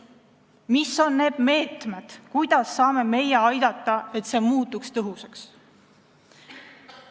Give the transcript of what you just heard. Mis on need meetmed, kuidas saame meie aidata, et see muutuks tõhusaks?